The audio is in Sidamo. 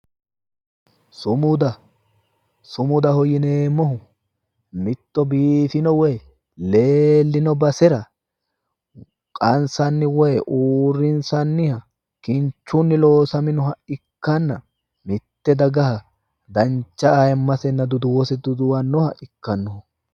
sumuda sumudaho yineemmohu mitto biifino woyi leellino basera qansanniha woyi uurrinsanniha kinchunni loosamino ikkanna mitte dagaha dancha ayiimmasenni duduwose duduwannoha ikkanno